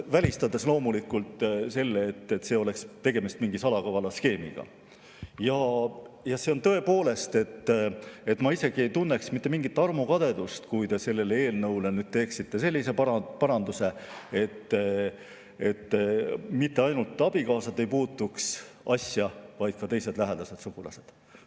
Välistades loomulikult selle, nagu siin oleks tegemist mingi salakavala skeemiga, tõepoolest, ma isegi ei tunneks mingit armukadedust, kui te selle eelnõu kohta teeksite sellise paranduse, et mitte ainult abikaasad ei puutuks asjasse, vaid ka teised lähedased sugulased.